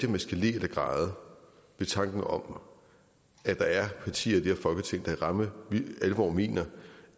jeg skal le eller græde ved tanken om at der er partier i det her folketing der i ramme alvor mener